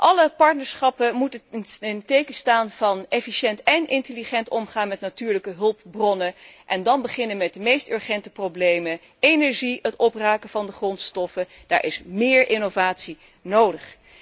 Alle partnerschappen moeten in het teken staan van efficiënt en intelligent omgaan met natuurlijke hulpbronnen en dan beginnen met de meest urgente problemen energie, het opraken van de grondstoffen. Daar is meer innovatie nodig.